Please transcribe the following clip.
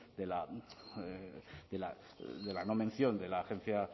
de la no mención de la agencia